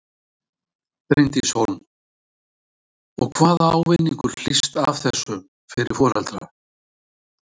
Bryndís Hólm: Og hvaða ávinningur hlýst af þessu fyrir foreldra?